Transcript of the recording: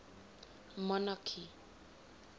monarchy